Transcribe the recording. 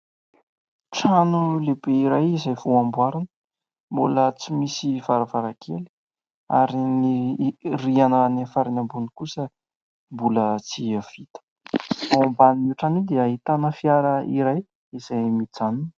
Trano lehibe iray izay vao amboarina, mbola tsy misy varavarankely ary ny rihana any amin'ny farany ambony kosa mbola tsy vita ; ao ambanin'io trano io dia ahitana fiara iray izay mijanona.